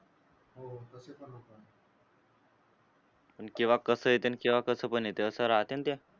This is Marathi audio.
आणि केव्हा कसं येतंय आणि केव्हा कसं पण येतं असं राहते ना ते.